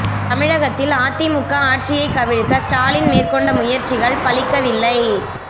தமிழகத்தில் அதிமுக ஆட்சியை கவிழ்க்க ஸ்டாலின் மேற்கொண்ட முயற்சிகள் பலிக்கவில்லை